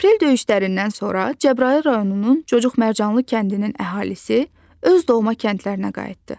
Aprel döyüşlərindən sonra Cəbrayıl rayonunun Cocuq Mərcanlı kəndinin əhalisi öz doğma kəndlərinə qayıtdı.